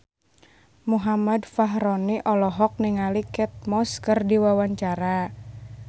Muhammad Fachroni olohok ningali Kate Moss keur diwawancara